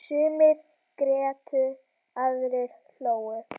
Sumir grétu, aðrir hlógu.